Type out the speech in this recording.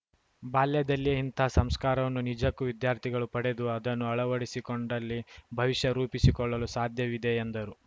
ಬಾಲ್ಯದಲ್ಲಿಯೇ ಇಂತಹ ಸಂಸ್ಕಾರವನ್ನು ನಿಜಕ್ಕೂ ವಿದ್ಯಾರ್ಥಿಗಳು ಪಡೆದು ಅದನ್ನು ಅಳವಡಿಸಿಕೊಂಡಲ್ಲಿ ಭವಿಷ್ಯ ರೂಪಿಸಿಕೊಳ್ಳಲು ಸಾಧ್ಯವಿದೆ ಎಂದರು